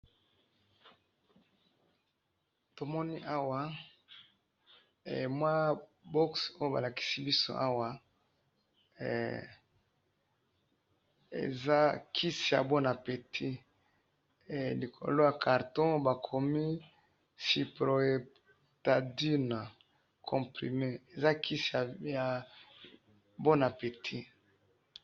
Tomoni awa mwa box oyo balakisi biso awa he eza kisi ya bon appetit likolo ya carton bakomi sipropotadina eza kisi ya bon appetit